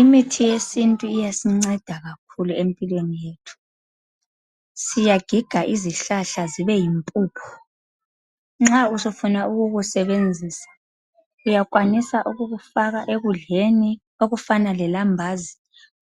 Imithi yesintu iyasinceda kakhulu empilweni yethu. Siyagiga izihlahla zibeyimpuphu. Nxa usufuna ukukusebenzisa uyakwanisa ukukufaka ekudleni okufana lelambazi